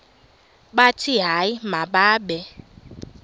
bathi hayi mababe